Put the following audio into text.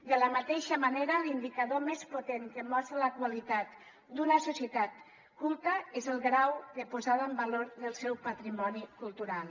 de la mateixa manera l’indicador més potent que mostra la qualitat d’una societat culta és el grau de posada en valor del seu patrimoni cultural